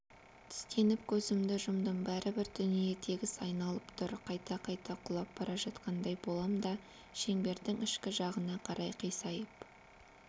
тістеніп көзімді жұмдым бәрібір дүние тегіс айналып тұр қайта-қайта құлап бара жатқандай болам да шеңбердің ішкі жағына қарай қисайып